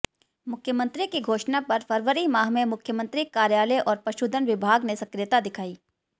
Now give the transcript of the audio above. मुख्यमंत्री की घोषणा पर फरवरी माह में मुख्यमंत्री कार्यालय और पशुधन विभाग ने सक्रियता दिखाई